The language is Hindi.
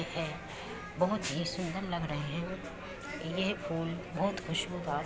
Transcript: बहुत हीं सुंदर लग रहे है ये फूल बहुत ही खूशबुदार है।